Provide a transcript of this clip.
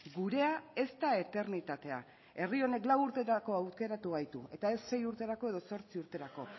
gurea ez da eternitatea herri honek lau urterako aukeratu gaitu eta ez sei urterako edo zortzi urterako